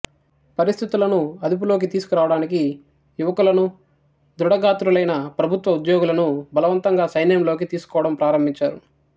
పరిస్థితులను అదుపులోకి తీసుకు రావడానికి యువకులను దృఢగాత్రులైన ప్రభుత్వోద్యోగులను బలవంతంగా సైన్యంలోకి తీసుకోవడం ప్రారంభించారు